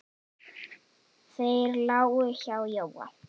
Þeir lágu hjá Jóa.